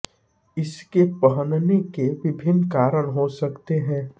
इसके पहनने के विभिन्न कारण हो सकते हैं